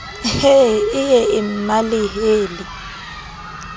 he e ye e mmalehele